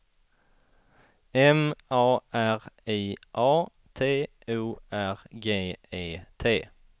M A R I A T O R G E T